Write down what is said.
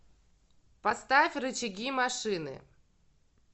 поставь рычаги машины